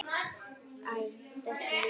Æ, þessi líka